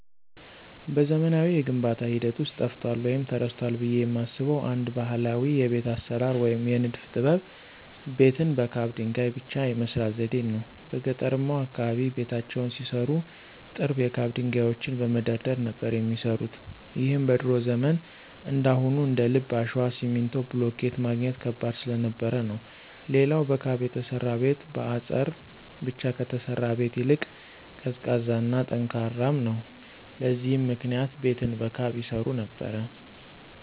በዘመናዊው የግንባታ ሂደት ውስጥ ጠፍቷል ወይም ተረስቷል ብየ የማስበው አንድ ባህላዊ የቤት አሰራር ወይም የንድፍ ጥበብ ቤትን በካብ ድንገይ ብቻ የመስራት ዘዴን ነው። በገጠርማው አካባቢ ቤታቸውን ሲሰሩ ጥርብ የካብ ድንጋዮችን በመደርደር ነበር የሚሰሩት ይህም በድሮ ዘመን እንዳሁኑ እንደልብ አሸዋ፣ ሲሚንቶ፣ ብሎኬት ማግኘት ከባድ ስለነበር ነው። ሌላው በካብ የተሰራ ቤት በአጸር ብቻ ከተሰራ ቤት ይልቅ ቀዝቃዛ እና ጠንካራም ነው። ለዚህም ምክንያት ቤትን በካብ ይሰሩ ነበር።